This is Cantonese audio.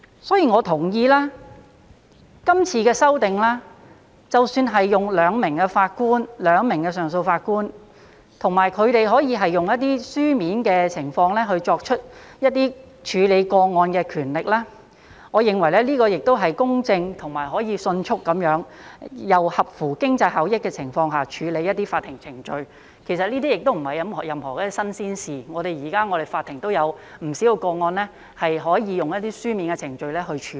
因此，我同意今次的修訂，即使是用2名上訴法官，以及他們可以用書面作出處理個案的權力，我認為這亦是公正的，可以迅速並在合乎經濟效益的情況下處理一些法庭程序，其實這些亦不是甚麼新鮮事物，現時我們的法庭也有不少個案可以用書面程序來處理。